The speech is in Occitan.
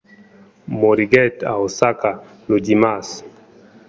moriguèt a osaka lo dimars